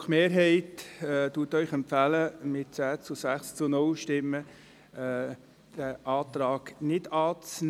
Die GSoK-Mehrheit empfiehlt Ihnen mit 10 Ja- gegen 6 Nein-Stimmen bei 0 Enthaltungen, diesen Antrag nicht anzunehmen.